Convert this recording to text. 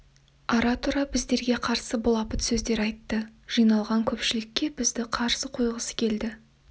ара-тұра біздерге қарсы былапыт сөздер айтты жиналған көпшілікке бізді қарсы қойғысы келді